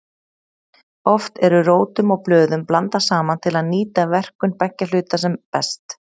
Oft eru rótum og blöðum blandað saman til að nýta verkun beggja hluta sem best.